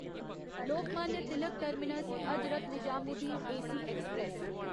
Lokmanya Tilak terminus Hazrat Nizamuddin AC express